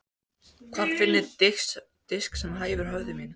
Hvar finn ég disk sem hæfir höfði mínu?